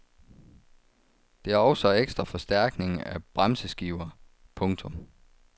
Det er også ekstra forstærkning af bremseskiver. punktum